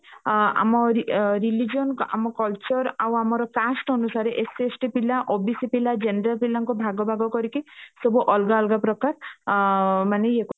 ଅ ଆମ ରିଲ religion ଆମ culture ଆଉ ଆମର cast ଅନୁସାରେ SC ST ପିଲା OBC general ପିଲାଙ୍କ ଭାଗ ଭାଗ କରିକି ସବୁ ଅଲଗା ଅଲଗା ପ୍ରକାର ଅ ମାନେ ଇଏ